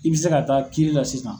I bɛ se ka taa kiiri la sisan.